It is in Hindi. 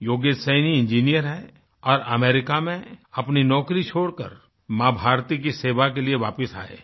योगेश सैनी इंजीनियर हैं और अमेरिका में अपनी नौकरी छोड़कर माँ भारती की सेवा के लिए वापिस आएँ हैं